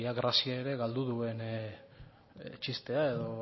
grazia ere galdu duen txistea edo